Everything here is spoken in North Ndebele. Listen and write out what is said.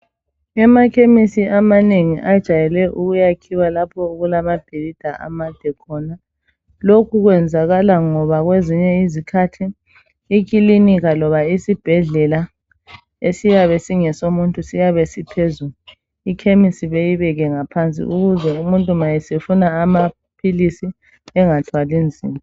Amakhemesi amanengi ajayele ukwakhiwa lapho okulamabhilidi amade khona, lokhu kwenzakala ngoba kwezinye izikhathi ikilinika loba isibhedlela esiyabe singesomuntu siyabe siphezulu ikhemesi beyibeke ngaphansi ukuze umuntu nxa esefuna amaphilisi angathwali nzima